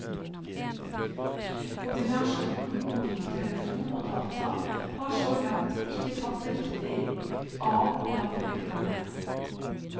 Kombinasjonen mobiltelefon og data har så langt ikke tatt riktig av blant brukerne.